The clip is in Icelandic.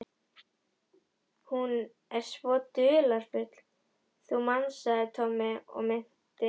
Hún er svo dularfull, þú manst sagði Tommi og minnti